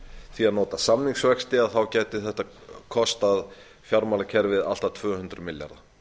því að nota samningsvexti þá gæti þetta kostað fjármálakerfið allt að tvö hundruð milljarða